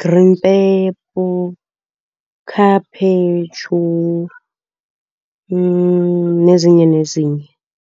green pepper, khaphetshu, nezinye nezinye.